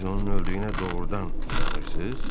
Siz onun öldüyünə doğrudan inanırsız?